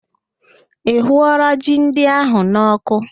Ị hụụọla ji ndị ahụ n'ọkụ